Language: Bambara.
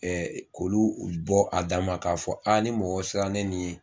k'olu bɔ a dan ma k'a fɔ ni mɔgɔw sera ni nin ye